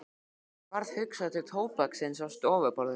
Henni varð hugsað til tóbaksins á stofuborðinu.